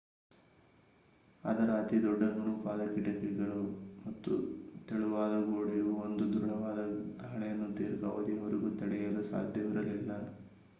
ಅದರ ಅತಿದೊಡ್ಡ ನುಣುಪಾದ ಕಿಟಕಿಗಳು ಮತ್ತು ತೆಳುವಾದ ಗೋಡೆಯು ಒಂದು ದೃಡವಾದ ದಾಳಿಯನ್ನು ದೀರ್ಘಾವಧಿಯವರೆಗೂ ತಡೆಯಲು ಸಾಧ್ಯವಿರಲಿಲ್ಲ